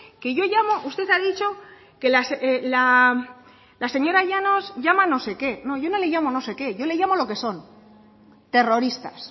que yo llamo usted ha dicho que la señora llanos llama no sé qué no yo no le llamo no sé qué yo le llamo lo que son terroristas